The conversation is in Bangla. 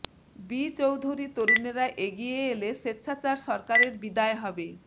বি চৌধুরী তরুণেরা এগিয়ে এলে স্বেচ্ছাচার সরকারের বিদায় হবে